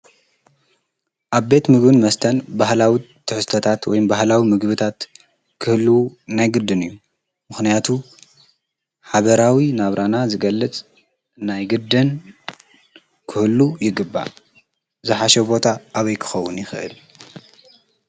ኣ ቤት ምግን መስተን በህላዊት ተሕስተታት ወይምበህላዊ ምግብታት ክህሉ ናይግድን እዩ ምኽንያቱ ሓበራዊ ናብራና ዝገልጽ እናይግድን ክህሉ ይግባል ዝሓሸቦታ ኣበይክኸዉን ይኽህል።